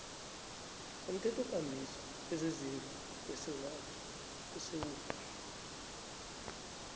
umthethokambiso wezezindlu wesewula